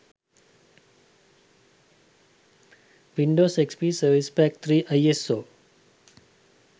windows xp service pack 3 iso